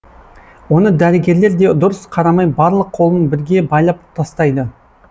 оны дәрігерлер де дұрыс қарамай барлық қолын бірге байлап тастайды